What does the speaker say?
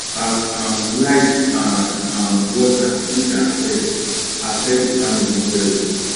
as um light and um water no dey affect affect the family well o